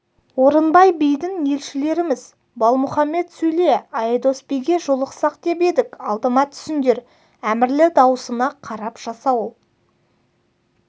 орынбай бидің елшілеріміз балмұхаммед сөйле айдос биге жолықсақ деп едік алдыма түсіңдер әмірлі даусына қарап жасауыл